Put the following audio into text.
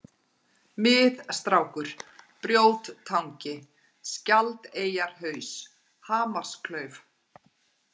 Mið-Strákur, Brjóttangi, Skjaldareyjarhaus, Hamarsklauf